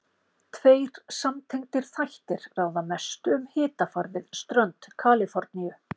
Tveir samtengdir þættir ráða mestu um hitafar við strönd Kaliforníu.